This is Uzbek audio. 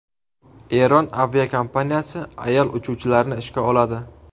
Eron aviakompaniyasi ayol uchuvchilarni ishga oladi.